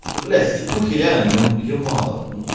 да блять степухи реально ну блять её мало